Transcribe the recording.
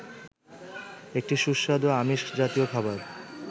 একটি সুস্বাদু আমিষ জাতীয় খাবার